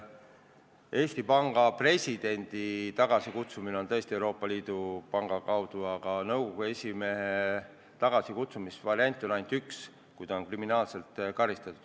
Eesti Panga presidendi tagasikutsumine on võimalik Euroopa Keskpanga põhikirjas sätestatu alusel, aga nõukogu esimehe tagasikutsumise võimalusi on ainult üks: kui tema kohta on langetatud süüdimõistev kohtuotsus.